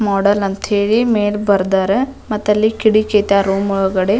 Model ಅಂತ ಹೇಳಿ ಮೇಲ್ ಬರ್ದಾರಾ ಮತ್ತೆ ಅಲ್ಲಿ ಕಿಟಕಿ ಐತೆ ಆಹ್ಹ್ ರೂಮ್ ಒಳಗಡೆ.